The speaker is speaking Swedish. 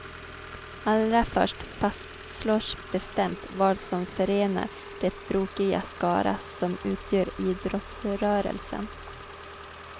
Allra först fastslås bestämt vad som förenar den brokiga skara som utgör idrottsrörelsen.